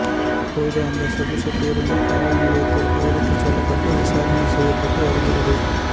தற்போது அந்த சொகுசு பேருந்து காவல் நிலையத்திற்கு எடுத்துச் செல்லப்பட்டு விசாரணை செய்யப்பட்டு வருகிறது